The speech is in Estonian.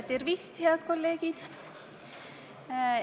Tervist, head kolleegid!